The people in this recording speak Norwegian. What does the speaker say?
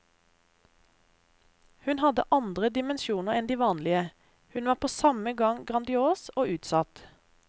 Hun hadde andre dimensjoner enn de vanlige, hun var på samme gang grandios og utsatt.